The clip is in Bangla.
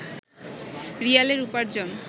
রিয়ালের উপার্জন